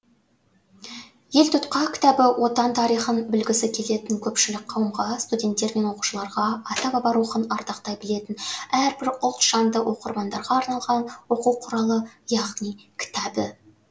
елтұтқа кітабы отан тарихын білгісі келетін көпшілік қауымға студенттер мен оқушыларға ата баба рухын ардақтай білетін әрбір ұлт жанды оқырмандарға арналған оқу құралы яғни кітабы